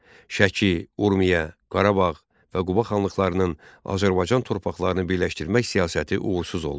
Şəki, Urmiya, Qarabağ və Quba xanlıqlarının Azərbaycan torpaqlarını birləşdirmək siyasəti uğursuz oldu.